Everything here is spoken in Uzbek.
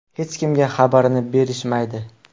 Hech kimga xabarini berishmaydi.